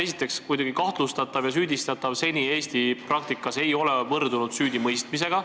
Esiteks, kahtlustatav ja süüdistatav ei ole seni Eesti praktikas võrdunud süüdimõistetuga.